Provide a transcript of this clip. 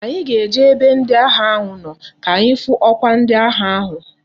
Anyi ga eje na ebe ndi agha na ano ka anyi hu okwa ndi agha ahu